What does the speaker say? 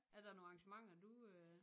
Er der nogle arrangementer du øh?